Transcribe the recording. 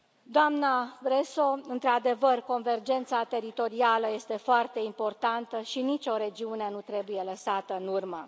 Doamnă Bresso, într adevăr, convergența teritorială este foarte importantă și nicio regiune nu trebuie lăsată în urmă.